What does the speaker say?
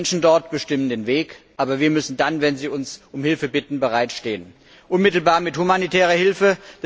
Die Menschen dort bestimmen den Weg, aber wir müssen dann, wenn sie uns um Hilfe bitten, bereitstehen, unmittelbar mit humanitärer Hilfe.